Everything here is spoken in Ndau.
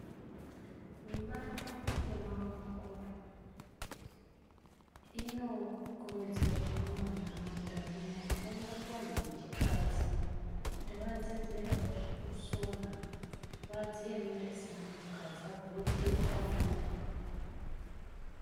Mibato yemaoko inokurudzirwa mumanharaunda kunyanya-nyanya kuvantu vechikadzi, kuti vadzidzirewo zvekusona vadziyemere seantukadzi vakone kuchengete mhuri.